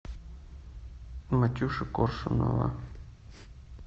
матюши коршунова